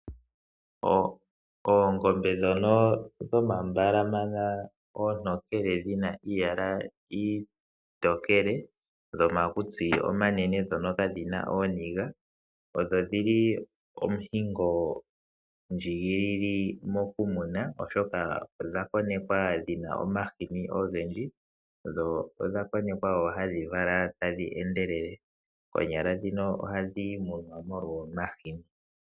Oongombe ndhono dhomambalana oontokele dhina iiyala iitokele dhomakutsi omanene ndhono kadhina ooniga, odho dhili omuhingo ndjigilile moku muna oshoka odha konekwa dhina omahini ogendji dho odha konekwa woo hadhi vala tadhi endelele konyala ndhino ohadhi munwa molwa omahini.